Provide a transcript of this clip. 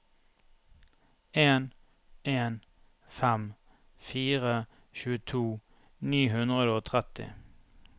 en en fem fire tjueto ni hundre og tretti